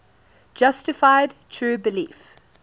justified true belief